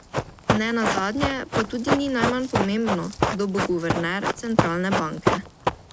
Ne nazadnje pa tudi ni najmanj pomembno, kdo bo guverner centralne banke.